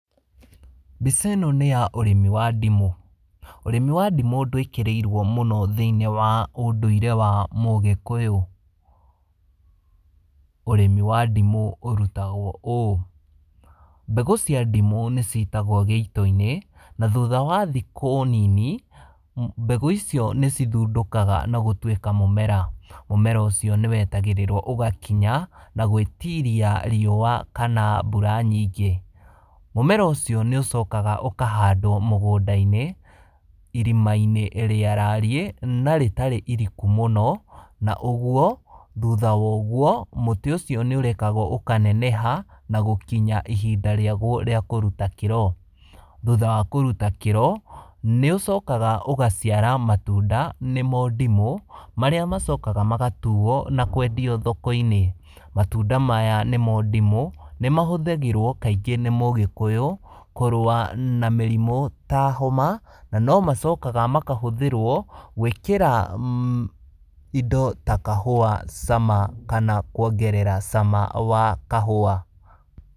Mbica ĩno nĩya ũrĩmi wa ndimũ. Ũrĩmi wa ndimũ ndwĩkĩrĩirwo mũno thinĩ wa ũndũire wa mũgĩkũyũ. Ũrĩmi wa ndimũ ũrutagwo ũũ, mbegũ cia ndimũ nĩcitagwo gĩitoinĩ, na thutha wa thikũ nini, mbegũ icio nĩcithundũkaga na gũtuĩka mũmera, mũmera ũcio nĩwetagĩrĩrwo ũgakinya na gwĩtiria riua kana mbura nyingĩ. Mũmera ũcio nĩũcokaga ũkahandwo mũgũndainĩ, irimainĩ rĩarariĩ, na rĩtarĩ iriku mũno, na ũguo, thutha woguo, mũtĩ ũcio nĩũrekagwo ũkaneneha, na gũkinya ihinda rĩagwo rĩa kũruta kĩro. Thutha wa kũruta kĩro, nĩũcokaga ũgaciara matunda, nĩmo ndimũ, marĩa macokaga magatuo na kwendio thokoinĩ. Matunda maya nĩmo ndimũ, nĩmahũthagĩrwo kaingĩ nĩ mũgĩkũyũ, kũrũa na mĩrimũ ta homa, na nomacokaga makahũthĩrwo gwĩkĩra indo ta kahũa cama kanakuongerera cama wa kahũa.